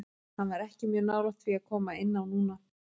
Hann var ekki mjög nálægt því að koma inn á núna.